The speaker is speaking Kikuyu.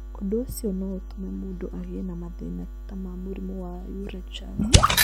Ũndũ ũcio no ũtũme mũndũ agĩe na mathĩna ta ma mũrimũ wa urachal.